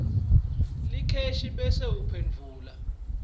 letheksthi bese uphendvula